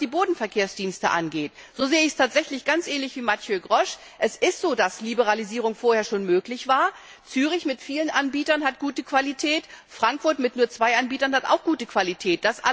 Und was die Bodenverkehrsdienste angeht, so sehe ich es tatsächlich ganz ähnlich wie Mathieu Grosch Es ist so, dass Liberalisierung vorher schon möglich war, Zürich mit vielen Anbietern hat gute Qualität, Frankfurt mit nur zwei Anbietern hat auch gute Qualität.